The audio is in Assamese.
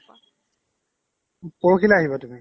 পৰহিলৈ আহিবা তুমি